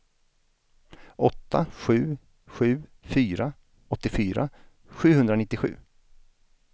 åtta sju sju fyra åttiofyra sjuhundranittiosju